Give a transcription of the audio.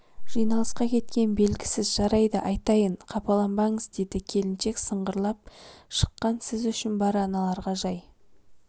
жиналысқа кеткен белгісіз жарайды айтайын қапаланбаңыз деді келіншек сыңғырлап шықаң сіз үшін бар аналарға жай